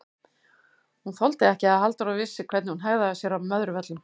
Hún þoldi ekki að Halldóra vissi hvernig hún hegðaði sér á Möðruvöllum!